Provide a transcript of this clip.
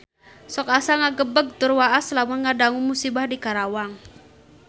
Sok asa ngagebeg tur waas lamun ngadangu musibah di Karawang